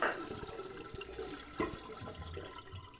последняя часть санни кидс ти ви